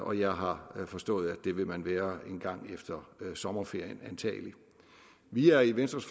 og jeg har forstået at det vil man antagelig være en gang efter sommerferien vi er i venstres